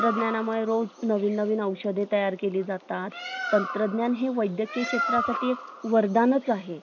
काय ए recordingphone किव्वा पुढे काय गेलं होत त्याशी photo घेतो हे घेतो कधी कधी कस कि आपली photo आपल्याला स्वतःला पाठवता नाही येत whatt sup वर